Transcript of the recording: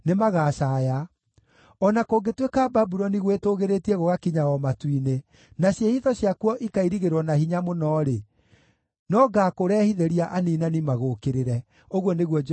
O na kũngĩtuĩka Babuloni gwĩtũũgĩrĩtie gũgakinya o matu-inĩ, na ciĩhitho ciakuo ikairigĩrwo na hinya mũno-rĩ, no ngaakũrehithĩria aniinani magũũkĩrĩre,” ũguo nĩguo Jehova ekuuga.